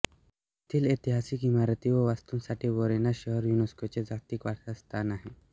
येथील ऐतिहासिक इमारती व वास्तूंसाठी व्हेरोना शहर युनेस्कोचे जागतिक वारसा स्थान आहे